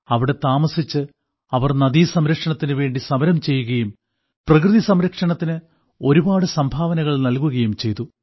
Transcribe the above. അവിടെ താമസിച്ചു അവർ നദീസംരക്ഷണത്തിനു വേണ്ടി സമരം ചെയ്യുകയും പ്രകൃതിസംരക്ഷണത്തിന് ഒരുപാട് സംഭാവനകൾ നൽകുകയും ചെയ്തു